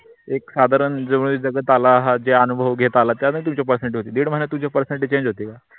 एक साधारण जवी जगत आला आहात जे अनुभ घेत आला त्यांना तुम्ह्ची personality दीड महिन्यात तुझी personality change होते का